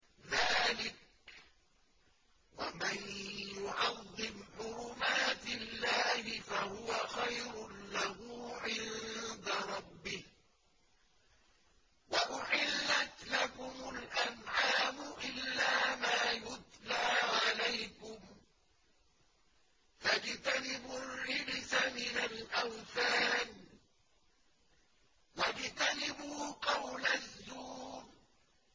ذَٰلِكَ وَمَن يُعَظِّمْ حُرُمَاتِ اللَّهِ فَهُوَ خَيْرٌ لَّهُ عِندَ رَبِّهِ ۗ وَأُحِلَّتْ لَكُمُ الْأَنْعَامُ إِلَّا مَا يُتْلَىٰ عَلَيْكُمْ ۖ فَاجْتَنِبُوا الرِّجْسَ مِنَ الْأَوْثَانِ وَاجْتَنِبُوا قَوْلَ الزُّورِ